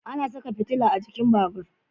Ana saka fitila a jikin babur